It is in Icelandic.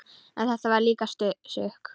En þetta var líka sukk.